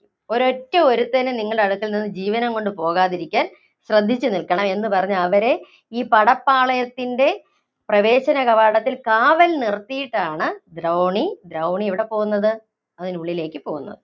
ഒരൊറ്റ ഒരുത്തനും നിങ്ങളുടെ അടുക്കല്‍ നിന്നും ജീവനോടെ പോവാതിരിക്കാന്‍ ശ്രദ്ധിച്ചുനില്‍ക്കണം എന്ന് പറഞ്ഞ് അവരെ ഈ പടപ്പാളയത്തിന്‍റെ പ്രവേശന കവാടത്തില്‍ കാവല്‍ നിര്‍ത്തിയിട്ടാണ് ദ്രൗണി, ദ്രൗണി എവിടെ പോകുന്നത്? അതിനുള്ളിലേക്ക് പോകുന്നത്.